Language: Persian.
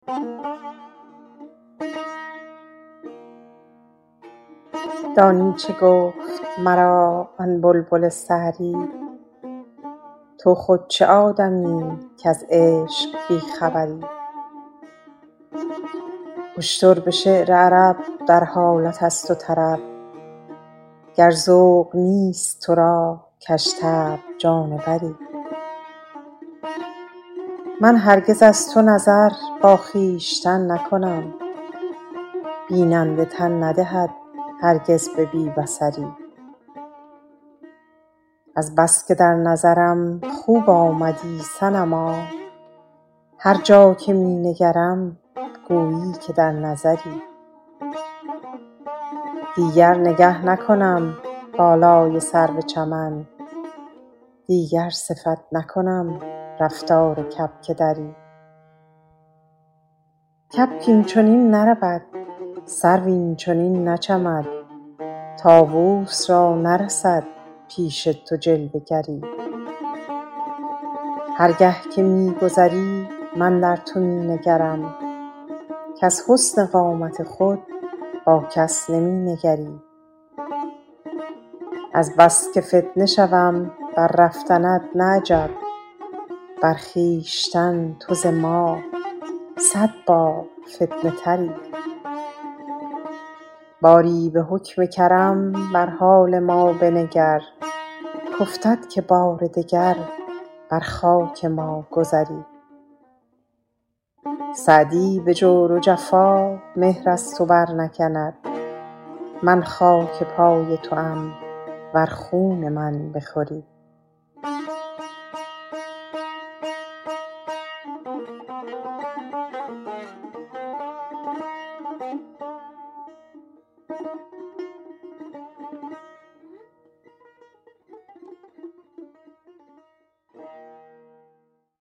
دانی چه گفت مرا آن بلبل سحری تو خود چه آدمیی کز عشق بی خبری اشتر به شعر عرب در حالت است و طرب گر ذوق نیست تو را کژطبع جانوری من هرگز از تو نظر با خویشتن نکنم بیننده تن ندهد هرگز به بی بصری از بس که در نظرم خوب آمدی صنما هر جا که می نگرم گویی که در نظری دیگر نگه نکنم بالای سرو چمن دیگر صفت نکنم رفتار کبک دری کبک این چنین نرود سرو این چنین نچمد طاووس را نرسد پیش تو جلوه گری هر گه که می گذری من در تو می نگرم کز حسن قامت خود با کس نمی نگری از بس که فتنه شوم بر رفتنت نه عجب بر خویشتن تو ز ما صد بار فتنه تری باری به حکم کرم بر حال ما بنگر کافتد که بار دگر بر خاک ما گذری سعدی به جور و جفا مهر از تو برنکند من خاک پای توام ور خون من بخوری